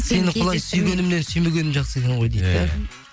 сені құлай сүйгенімнен сүймегенім жақсы екен ғой дейді де